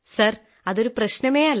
sir അതൊരു പ്രശ്നമേ അല്ല